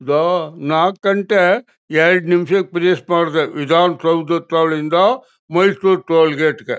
ಇದು ನಾಕು ಗಂಟೆ ಎರಡು ನಿಮಿಷ ಕ್ಕೆ ಫಿನಿಷ್ ಮಾಡಬೇಕು ವಿಧಾನ ಸೌಧ ಟೋಲ್ ಇಂದ ಮೈಸೂರು ಟೋಲ್ ಗೇಟ್ ಗೆ.